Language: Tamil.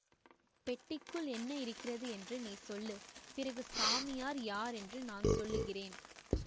பெட்டிக்குள் என்ன இருக்கிறது என்று நீ சொல்லு பிறகு சாமியார் யார் என்று நான் சொல்லுகிறேன்